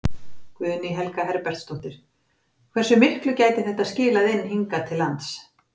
Guðný Helga Herbertsdóttir: Hversu miklu gæti þetta skilað inn hingað til lands?